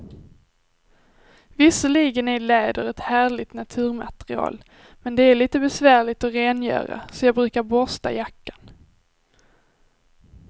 Visserligen är läder ett härligt naturmaterial, men det är lite besvärligt att rengöra, så jag brukar borsta jackan.